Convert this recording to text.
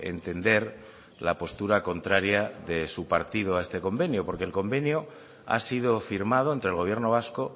entender la postura contraria de su partido a este convenio porque el convenio ha sido firmado entre el gobierno vasco